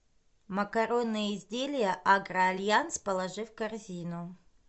макаронные изделия агро альянс положи в корзину